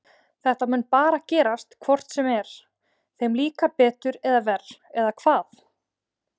Þetta mun bara gerast hvort sem þeir, þeim líkar betur eða verr eða hvað?